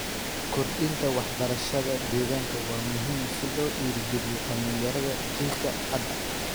Kordhinta waxbarashada deegaanka waa muhiim si loo dhiirrigeliyo dhalinyarada jiilka hadda.